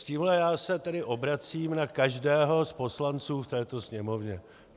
S tímhle já se tedy obracím na každého z poslanců v této Sněmovně.